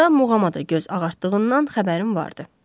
Arada muğama da göz ağartdığından xəbərim vardı.